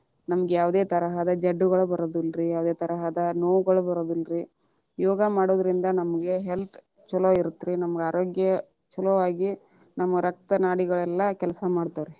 ನಮಗ ಯಾವುದೇ ತರಹದ ಜಡ್ಡುಗಳು ಬರುವುದಿಲ್ಲರೀ, ಯಾವುದೇ ತರಹದ ನೋವುಗಳು ಬರುದಿಲ್ಲರೀ, ಯೋಗಾ ಮಾಡುದರಿಂದ ನಮಗ health ಚೊಲೊ ಇರತ್ತ ರೀ ನಮ್ಮ ಆರೋಗ್ಯ ಚೊಲೊ ಆಗಿ ನಮ್ಮ ರಕ್ತ ನಾಡಿ ಕೆಲಸಾ ಮಾಡ್ತವಾ ರೀ.